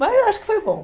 Mas acho que foi bom.